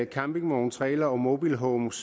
campingvogne trailere og mobilhomes